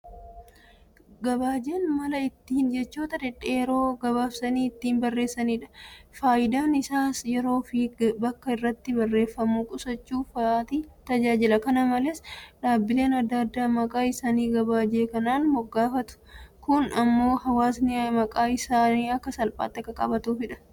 Gabaajeen mala ittiin jechoota dhedheeroo gabaabsanii ittiin barreessanidha. Faayidaan isaas yeroofi bakka irratti barreeffamu qusachuu fa'aatiif tajaajila. kana malees dhaabbileen adda addaa maqaa isaanii gabaajee kanaan moggaafatu. Kun immoo hawaasni maqaa isaanii akka salphaatti akka qabatuuf tajaajila.